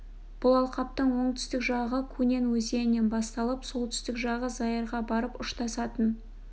бұл алқаптың оңтүстік жағы кунен өзенінен басталып солтүстік жағы заирға барып ұштасатын